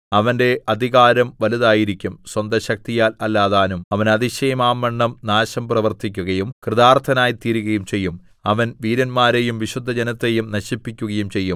അവന്റെ അധികാരം വലുതായിരിക്കും സ്വന്തശക്തിയാൽ അല്ലതാനും അവൻ അതിശയമാംവണ്ണം നാശം പ്രവർത്തിക്കുകയും കൃതാർത്ഥനായിത്തീരുകയും ചെയ്യും അവൻ വീരന്മാരെയും വിശുദ്ധജനത്തെയും നശിപ്പിക്കുകയും ചെയ്യും